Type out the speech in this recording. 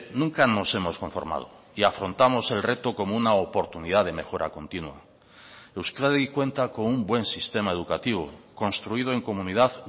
nunca nos hemos conformado y afrontamos el reto como una oportunidad de mejora continua euskadi cuenta con un buen sistema educativo construido en comunidad